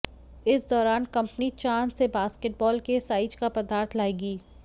इस दौरान कंपनी चांद से बास्केटबॉल के साइज का पदार्थ लाएगी